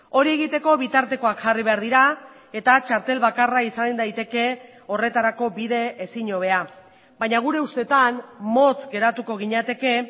hori egiteko bitartekoak jarri behar dira eta txartel bakarra izan daiteke horretarako bide ezin hobea baina gure ustetan motz geratuko ginateke